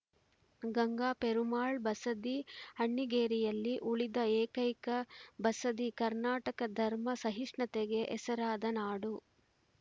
ಗಂಗ ಪೆರುಮಾಳ್‌ ಬಸದಿ ಅಣ್ಣಿಗೇರಿಯಲ್ಲಿ ಉಳಿದ ಏಕೈಕ ಬಸದಿ ಕರ್ನಾಟಕ ಧರ್ಮ ಸಹಿಷ್ಣುತೆಗೆ ಹೆಸರಾದ ನಾಡು